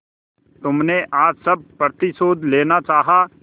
तुमने आज सब प्रतिशोध लेना चाहा